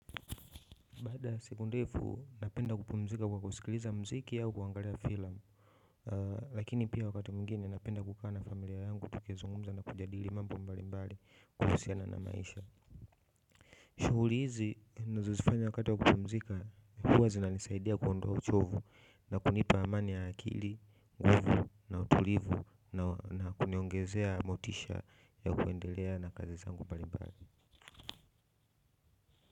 Baada ya siku ndefu napenda kupumzika kwa kusikiliza muziki au kuangalia filamu. Lakini pia wakati mwingine napenda kukaa na familia yangu tukizungumza na kujadili mambo mbalimbali kuhusiana na maisha. Shughuli hizi ninazozifanya wakati wa kupumzika huwa zinanisaidia kuondoa uchovu na kunipa amani ya akili, utulivu na kuniongezea motisha ya kuendelea na kazi zangu mbalimbali.